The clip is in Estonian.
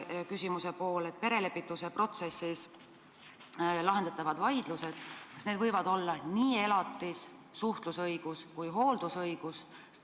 Teine küsimuse pool: kas perelepituse protsessis lahendatavad vaidlused võivad olla nii elatis-, suhtlusõigus- kui ka hooldusõigusvaidlused?